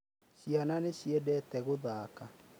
Ciana nĩ ciendete gũthaka.